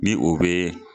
Ni o be